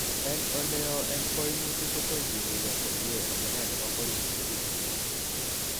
En oleoo en koimutik, kotom kikuyo komie amune nebo koimutioniton.